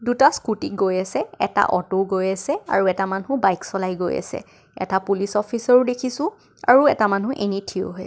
দুটা স্কুতি গৈ আছে এটা অত' ও গৈ আছে আৰু এটা মানুহ বাইক চলাই গৈ আছে. এটা পুলিচ অফিচাৰ ও দেখিছোঁ আৰু এটা মানুহ এনেই থিয় হৈ আছে.